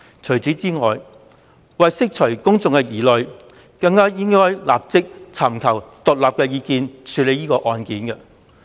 此外，為釋除公眾疑慮，她更應該立即尋求獨立法律意見，處理此案。